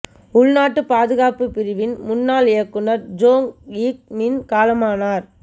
உள்நாட்டுப் பாதுகாப்புப் பிரிவின் முன்னாள் இயக்குநர் ஜோங் யிக் மின் காலமானார்